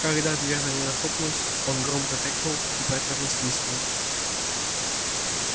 когда дверь за ней захлопнулась он громко крикнул и протяжно свистнул